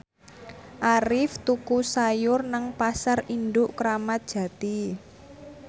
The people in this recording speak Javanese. Arif tuku sayur nang Pasar Induk Kramat Jati